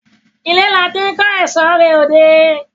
Ilé làti n ko eṣo re odé